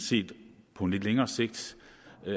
det på lidt længere sigt